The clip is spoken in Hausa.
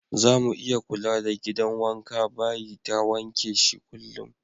Zamu iya kula da gidan wanka/bayi ta wanke shi kullum.